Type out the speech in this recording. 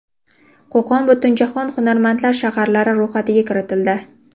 Qo‘qon Butunjahon hunarmandlar shaharlari ro‘yxatiga kiritildi.